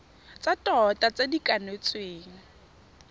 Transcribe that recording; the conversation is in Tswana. tsa tota tse di kanetsweng